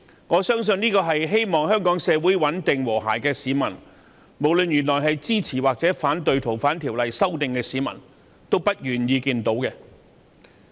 我相信，凡是希望香港穩定和諧的市民，不管本身支持還是反對修訂《逃犯條例》，都不願意看到這種情況。